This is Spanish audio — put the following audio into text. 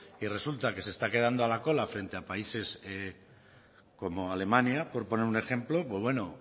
y resulta que se está quedando a la cola frente a países como alemania por poner un ejemplo pues bueno